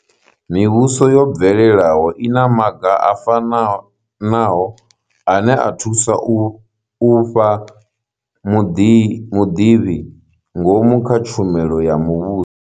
Mivhuso yo bvelelaho i na maga a fanaho ane a thusa u fha muḓivhi ngomu kha tshumelo ya muvhuso.